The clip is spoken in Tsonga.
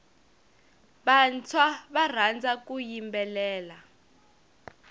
vantshwa va rhandza ku yimbelela